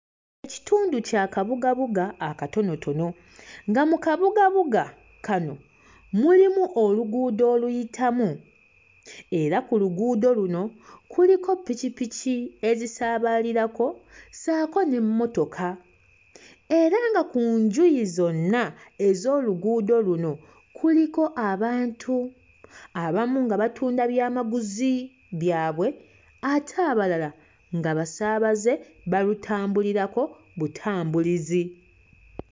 Kitundu kya kabugabuga akatonotono nga mu kabugabuga kano mulimu oluguudo oluyitamu era ku luguudo luno kuliko ppikippiki ezisaabalirako ssaako n'emmotoka era nga ku njuyi zonna ez'oluguudo luno kuliko abantu abamu nga batunda byamaguzi byabwe ate abalala nga basaabaze balutambulirako butambulizi.